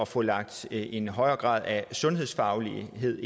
få lagt en højere grad af sundhedsfaglighed